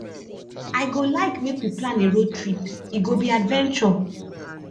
i go like make we plan a road trip e go be adventure